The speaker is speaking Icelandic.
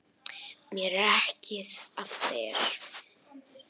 Mér er ekið af þér.